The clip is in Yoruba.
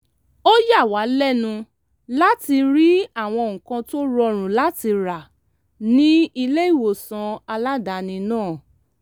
ó yà wá lẹ́nu láti rí àwọn nǹkan tó rọrùn láti rà ní ilé-ìwòsàn aládàáni náà